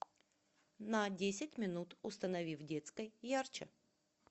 на десять минут установи в детской ярче